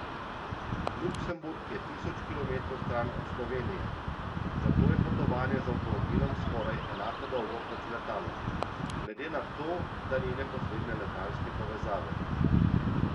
Luksemburg je tisoč kilometrov stran od Slovenije, zato je potovanje z avtomobilom skoraj enako dolgo kot z letalom, glede na to, da ni neposredne letalske povezave.